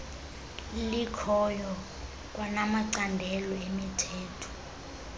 likhoyo kwanamacandelo emithombo